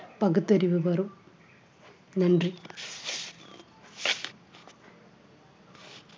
பகுத்தறிவு வரும் நன்றி